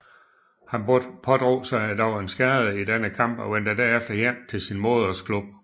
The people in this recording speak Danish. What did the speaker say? Han pådrog sig dog en skade i denne kamp og vendte derefter hjem til sin modersklub